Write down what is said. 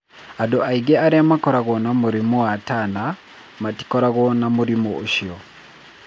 Andũ aingĩ arĩa makoragwo na mũrimũ wa Turner matikoragwo na mũrimũ ũcio.